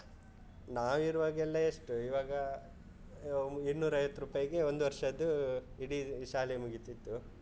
ನಾವಿರುವಾಗೆಲ್ಲ ಎಷ್ಟು ಇವಾಗ, ಇನ್ನೂರ ಐವತ್ತು ರುಪಾಯಿಗೆ ಒಂದು ವರ್ಷದ್ದು ಇಡೀ ಶಾಲೆ ಮುಗೀತಿತ್ತು.